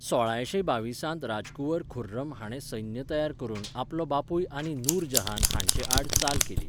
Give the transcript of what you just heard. सोळायशे बावीसांत राजकुंवर खुर्रम हाणें सैन्य तयार करून आपलो बापूय आनी नूरजहान हांचे आड चाल केली.